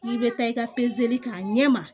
I bɛ taa i ka k'a ɲɛ ma